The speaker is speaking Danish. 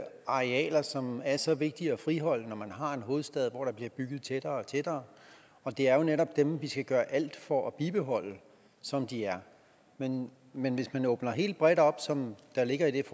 arealer som er så vigtige at friholde når man har en hovedstad hvor der bliver bygget tættere og tættere og det er netop dem vi skal gøre alt for at bibeholde som de er men men hvis man åbner helt bredt op som der ligger i